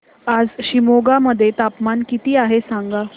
आज शिमोगा मध्ये तापमान किती आहे सांगा